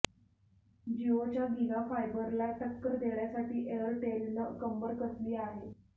जिओच्या गिगा फायबरला टक्कर देण्यासाठी एअरटेलनं कंबर कसली आहे